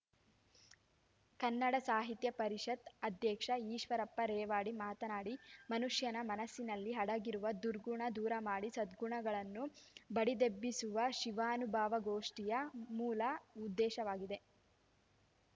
ಕನ್ನಡ ಸಾಹಿತ್ಯ ಪರಿಷತ್ ಅಧ್ಯಕ್ಷ ಈಶ್ವರಪ್ಪ ರೇವಡಿ ಮಾತನಾಡಿ ಮನುಷ್ಯನ ಮನಸ್ಸಿನಲ್ಲಿ ಅಡಗಿರುವ ದುರ್ಗುಣ ದೂರಮಾಡಿ ಸದ್ಗುಣಗಳನ್ನು ಬಡಿದೆಬ್ಬಿಸುವುದು ಶಿವಾನುಭವಗೋಷ್ಠಿಯ ಮೂಲ ಉದ್ದೇಶವಾಗಿದೆ